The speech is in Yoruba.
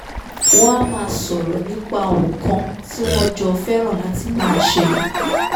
wọ́n á máa sọ̀rọ̀ nípa ohun kan tí wọ́n jọ fẹ́raǹ láti máa ṣe